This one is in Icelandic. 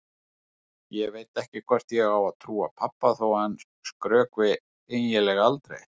Ég veit ekki hvort ég á að trúa pabba þó að hann skrökvi eiginlega aldrei.